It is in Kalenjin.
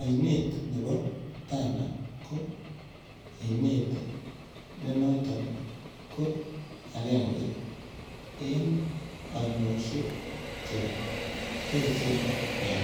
Oinet nebo Tana ko oinet nenoton ko akenge en oinosiek che echen en